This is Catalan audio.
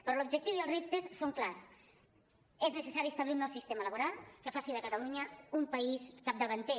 però l’objectiu i els reptes són clars és necessari establir un nou sistema laboral que faci de catalunya un país capdavanter